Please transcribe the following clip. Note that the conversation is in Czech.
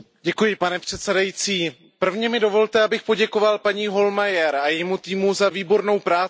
Pane předsedající, nejdříve mi dovolte, abych poděkoval paní Hohlmeierové a jejímu týmu za výbornou práci.